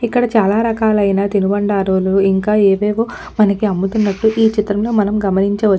ఇక్కడ చాలా రకాలైన తినుబండారాలు ఇంకా ఏవేవో మనకి అమ్ముతున్నాటు ఈచిత్రంలో మనం గమనించవచ్చు ఇంక.